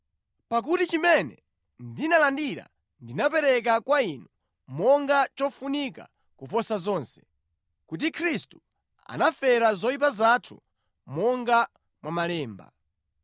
Pakuti chimene ndinalandira ndinapereka kwa inu monga chofunika kuposa zonse, kuti Khristu anafera zoyipa zathu monga mwa Malemba,